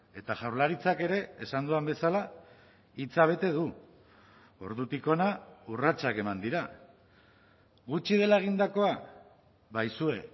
eta jaurlaritzak ere esan dudan bezala hitza bete du ordutik hona urratsak eman dira gutxi dela egindakoa ba aizue